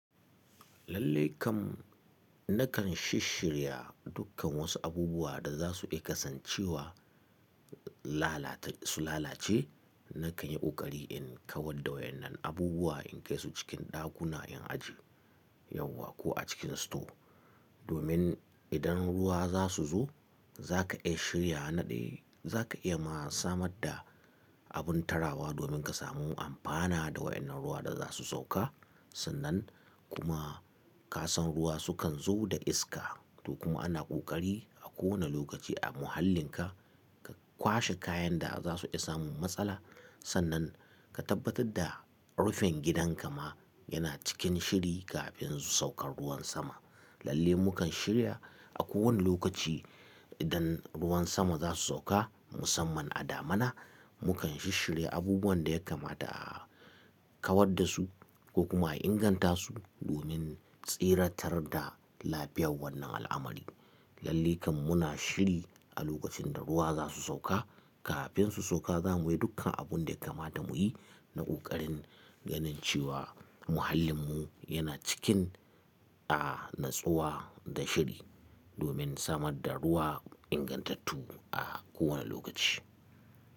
Lallai kam nakan shisshirya dukkan wasu abubuwa da za su iya kasancewa lalata su lalace. Nakan yi ƙoƙari in kawar da wayannan abubuwa in kai su cikin ɗakuna in aje yauwa ko a cikin store. Domin idan ruwa za su zo za ka iya shirya naɗe, za ka iya ma samar da abin tarawa domin ka samu amfana da wayannan ruwa da za su sauka. Sannan kuma kasan ruwa su kan zo da iska to kuma ana ƙoƙari a kowane lokaci a muhallinka ka kwashe kayan da za su iya samun matsala. Sannan ka tabbatar da rufin gidanka ma yana cikin shiri kafin su saukar ruwan sama. Lallai mukan shirya a kowane lokaci idan ruwan sama za su sauka musamman a damuna. Mukan shisshirya abubuwan da ya kamata a kawar da su ko kuma a inganta su domin tsiratar da lafiyar wannan al'amari. Lallai kam muna shiri a lokacin da ruwa za su sauka. Kafin su sauka za mu yi dukkan abun da ya kamata mu yi na ƙoƙarin ganin cewa muhallinmu yana cikin a natsuwa da shiri domin samar da ruwa ingantattu a kowane lokaci.